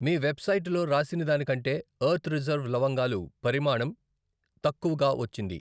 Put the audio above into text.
మీ వెబ్సైటులో రాసినదానికంటేది earth reserve లవంగాలు పరిమాణం తక్కువగా వచ్చింది.